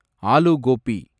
aloo Gopi